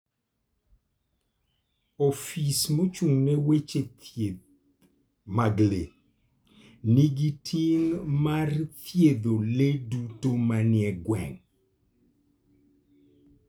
Ofis mochung'ne weche thieth mag le nigi ting' mar thiedho le duto manie gweng'.